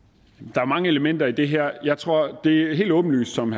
der er mange elementer i det her det er helt åbenlyst som